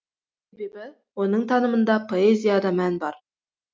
себебі оның танымында поэзияда мән бар